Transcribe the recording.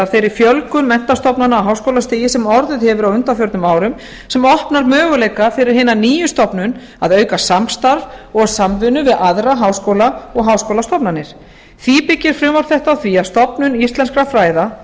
þeirri fjölgun menntastofnana á háskólastigi sem orðið hefur á undanförnum árum sem opnar möguleika fyrir hina nýju stofnun að auka samstarf og samvinnu við aðra háskóla og háskólastofnanir því byggir frumvarp þetta á því að stofnun íslenskra fræða